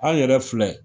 An yɛrɛ filɛ